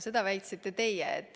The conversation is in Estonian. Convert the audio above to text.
Seda väitsite teie.